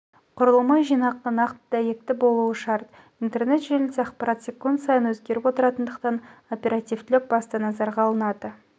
құрылымы жинақы нақты дәйекті болуы шарт интернет желіде ақпарат секунд сайын өзгеріп отыратындықтан оперативтілік басты назарға алынады